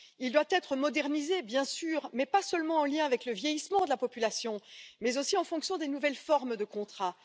Il doit être modernisé, bien sûr, mais pas seulement en lien avec le vieillissement de la population, mais aussi en fonction des nouvelles formes de contrats.